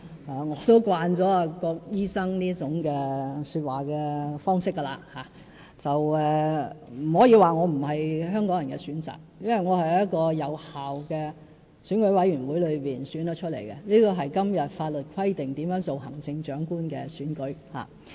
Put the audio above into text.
我也習慣了郭醫生這種說話方式，但不可以說我不是香港人的選擇，因為我是由一個有效的選舉委員會選出，是按照今天法律規定的行政長官產生辦法而當選。